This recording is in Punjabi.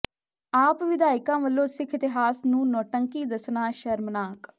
ਆਪ ਵਿਧਾਇਕਾਂ ਵਲੋਂ ਸਿੱਖ ਇਤਿਹਾਸ ਨੂੰ ਨੋਟੰਕੀ ਦਸਣਾ ਸ਼ਰਮਨਾਕ